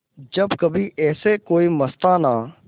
जब कभी ऐसे कोई मस्ताना